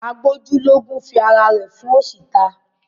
A gbójú lógún fi ara ẹ̀ fóṣì ta.